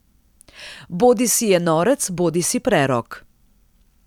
Bodisi je norec bodisi prerok.